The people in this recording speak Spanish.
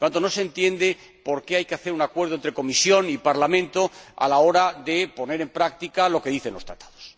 por tanto, no se entiende por qué hay que llegar a un acuerdo entre Comisión y Parlamento a la hora de poner en práctica lo que dicen los Tratados.